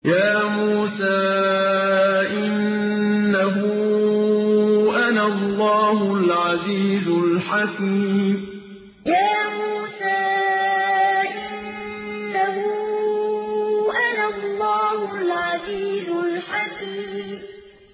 يَا مُوسَىٰ إِنَّهُ أَنَا اللَّهُ الْعَزِيزُ الْحَكِيمُ يَا مُوسَىٰ إِنَّهُ أَنَا اللَّهُ الْعَزِيزُ الْحَكِيمُ